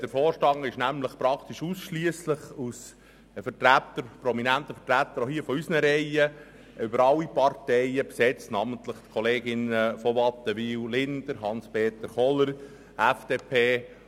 Der Vorstand ist nämlich fast ausschliesslich aus prominenten Vertretern aus unseren Reihen über alle Parteien hinweg zusammengesetzt, namentlich mit den Kolleginnen von Wattenwyl und Linder sowie mit Hanspeter Kohler, FDP.